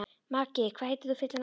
Maggi, hvað heitir þú fullu nafni?